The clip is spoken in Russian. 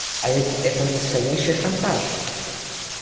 а ведь это настоящий шантаж